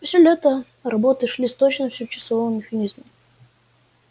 все лето работы шли с точностью часового механизма